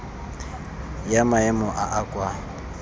ya maemo a a kwa